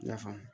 I y'a faamu